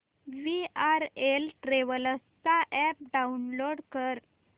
VRL Travels चा app download कर